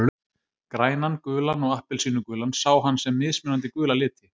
Grænan, gulan og appelsínugulan sá hann sem mismunandi gula liti.